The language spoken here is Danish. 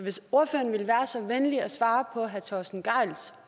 venlig at svare på herre torsten gejls